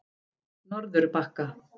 Norðurbakka